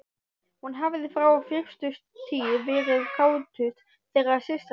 Hún hafði frá fyrstu tíð verið kátust þeirra systra.